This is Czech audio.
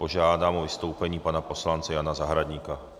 Požádám o vystoupení pana poslance Jana Zahradníka.